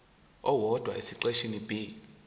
owodwa esiqeshini b